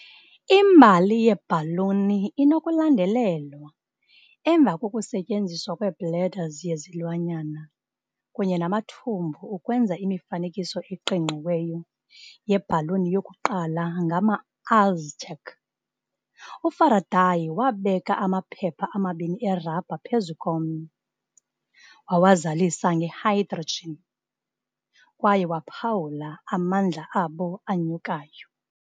Imbali yeebhaluni inokulandelelwa emva kokusetyenziswa kwe-bladders yezilwanyana kunye namathumbu ukwenza imifanekiso eqingqiweyo yebhaluni yokuqala ngama-Aztec. UFaraday wabeka amaphepha amabini erabha phezu komnye, wawazalisa nge-hydrogen, kwaye waphawula "amandla abo anyukayo".